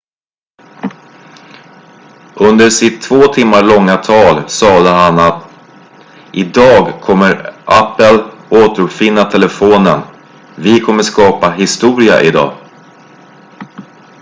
"under sitt två timmar långa tall sade han att "idag kommer apple återuppfinna telefonen vi kommer skapa historia idag"".